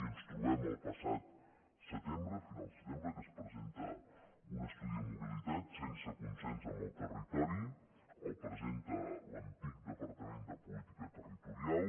i ens trobem el passat setembre finals de setembre que es presenta un estudi de mobilitat sense consens amb el territori el presenta l’antic departament de política territorial